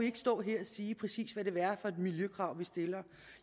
ikke stå her og sige præcis hvad det vil være for miljøkrav vi stiller